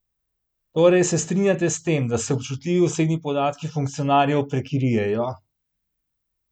Torej se strinjate s tem, da se občutljivi osebni podatki funkcionarjev prekrijejo?